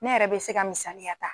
Ne yɛrɛ be se ka misaliya ta